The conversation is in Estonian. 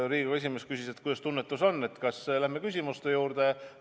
Riigikogu esimees küsis, kuidas tunnetus on, kas lähme küsimuste juurde.